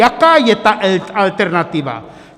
Jaká je ta alternativa?